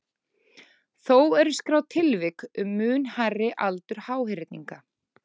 Þó eru skráð tilvik um mun hærri aldur háhyrninga.